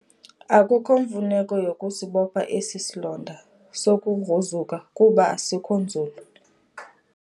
Akukho mfuneko yokusibopha esi silonda sokugruzuka kuba asikho nzulu.